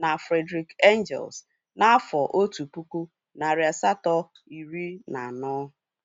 na Friedrish Engels n'afọ otu pụkụ, narị asato, iri na anọ